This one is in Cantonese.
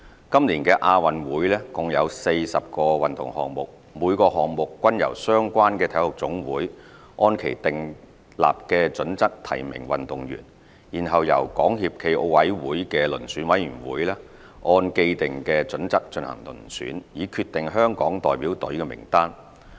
今年的亞運會共有40個運動項目，每個項目均由相關的體育總會按其訂立的準則提名運動員，然後由港協暨奧委會的遴選委員會按既定準則進行遴選，以決定香港代表隊名單。